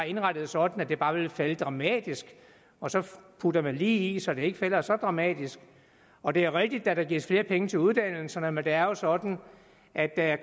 indrettet sådan at det bare ville falde dramatisk og så putter man lige i så det ikke falder så dramatisk og det er rigtigt at der gives flere penge til uddannelserne men det er jo sådan at der er